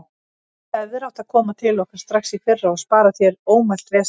Þú hefðir átt að koma til okkar strax í fyrra og spara þér ómælt vesen.